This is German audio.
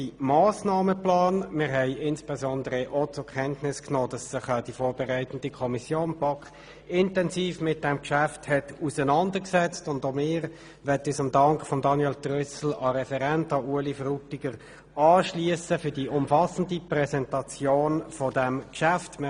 Wir haben insbesondere auch zur Kenntnis genommen, dass sich die vorberatende Kommission BaK intensiv mit diesem Geschäft auseinandergesetzt hat, und auch wir schliessen uns dem Dank an Grossrat Frutiger für die umfassende Präsentation dieses Geschäfts an.